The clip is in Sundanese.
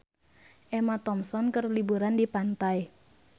Emma Thompson keur liburan di pantai